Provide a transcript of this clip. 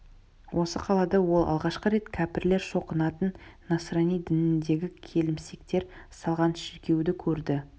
осы қалада ол алғашқы рет кәпірлер шоқынатын насрани дініндегі келімсектер салған шіркеуді көрді